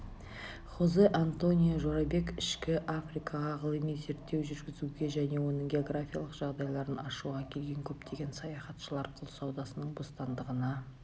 хозе-антонио жорабек ішкі африкаға ғылыми зерттеу жүргізуге және оның географиялық жағдайларын ашуға келген көптеген саяхатшылар құл саудасының бостандығына